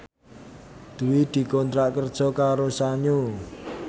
Dwi dikontrak kerja karo Sanyo